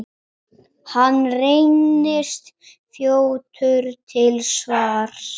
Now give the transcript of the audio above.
Hann reynist fljótur til svars.